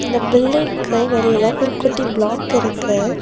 இந்த பில்டிங்க்கு வெளில ஒரு குட்டி ப்ளாக் இருக்கு.